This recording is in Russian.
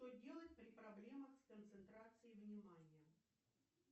что делать при проблемах с концентрацией внимания